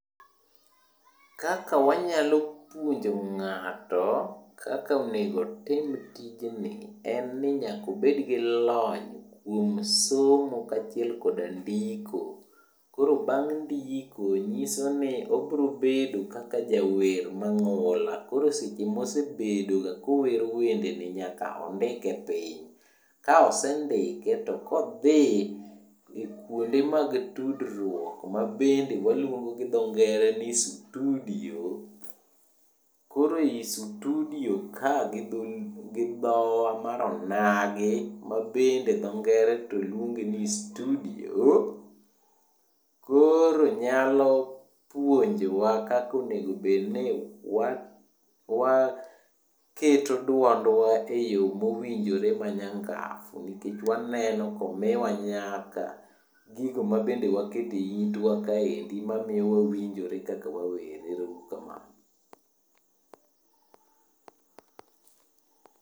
Kaka wanyalo puonjo ng'ato, kaka onego otim tijni en ni nyaka obedo gi lony kuom somo kaachiel koda ndiko. Koro bang' ndiko nyiso ni obro bedo kaka jawer mang'ula koro seche mosebedoga kowero wende ni nyaka ondike piny. Ka osendike to kodhi kuonde mag tudruok mabende waluongo gi dho ngere ni studio. Koro i sutudio ka gi dhowa mar onagi ma dho ngere to luonge ni studio, koro nyalo puonjowa kaka onego bedni waketo dwondwa e yo mowinjore manyangafu nikech waneno komiwa nyaka gigo mabende waketo e itwa kaendi mamiyo wawinjore kaka wawer, ero uru kamano.